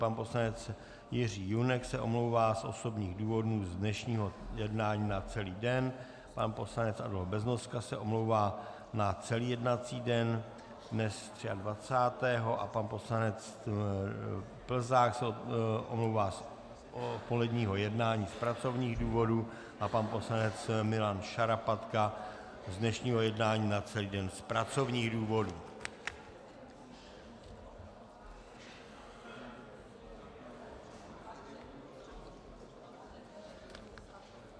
Pan poslanec Jiří Junek se omlouvá z osobních důvodů z dnešního jednání na celý den, pan poslanec Adolf Beznoska se omlouvá na celý jednací den dnes, 23. 2., pan poslanec Plzák se omlouvá z odpoledního jednání z pracovních důvodů a pan poslanec Milan Šarapatka z dnešního jednání na celý den z pracovních důvodů.